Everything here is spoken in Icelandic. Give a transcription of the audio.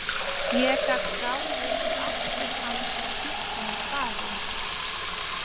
Ég gat ráðið í appið hans og sýnt honum staðinn.